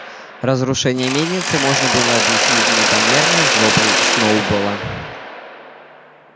разрушение мельницы можно было объяснить непомерной злобой сноуболла